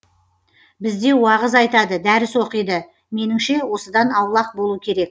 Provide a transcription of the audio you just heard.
бізде уағыз айтады дәріс оқиды меніңше осыдан аулақ болу керек